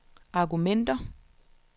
argumenter